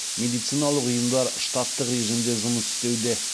медициналық ұйымдар штаттық режимде жұмыс істеуде